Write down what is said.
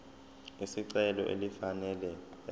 lesicelo elifanele ebese